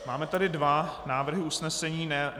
Máme tady dva návrhy usnesení.